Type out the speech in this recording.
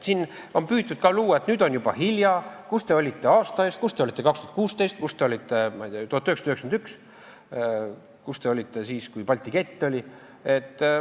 Siin on püütud ka luua muljet, et nüüd on juba hilja, kus te olite aasta eest, kus te olite 2016, kus te olite 1991, kus te olite siis, kui Balti kett oli.